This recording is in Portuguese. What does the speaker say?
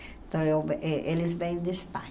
Então, eh eles vêm de Espanha.